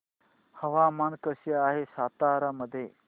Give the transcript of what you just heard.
हवामान कसे आहे सातारा मध्ये